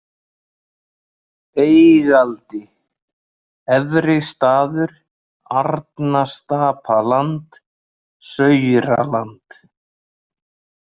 Beigaldi, Efri-Staður, Arnastapaland, Sauraland